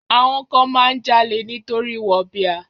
Àwọn kan máa ń jalè nítorí wọ̀bìà.